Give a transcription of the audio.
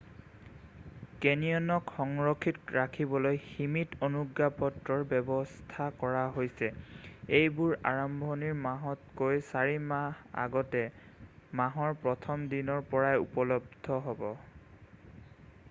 কেনিয়নক সুৰক্ষিত ৰাখিবলৈ সীমিত অনুজ্ঞাপত্ৰৰ ব্যৱস্থা কৰা হৈছে এইবোৰ আৰম্ভণিৰ মাহতকৈ চাৰি মাহ আগতে মাহৰ 1ম দিনৰ পৰাই উপলব্ধ হ'ব